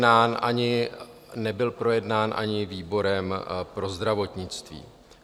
Nebyl projednán ani výborem pro zdravotnictví.